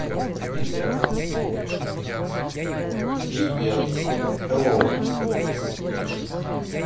привет привет хеллоу